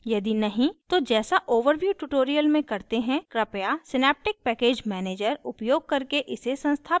यदि नहीं तो जैसा overview tutorial में करते हैं कृपया synaptic package manager synaptic package manager उपयोग करके इसे संस्थापित करें